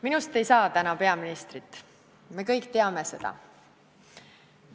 Minust ei saa täna peaministrit, me kõik teame seda.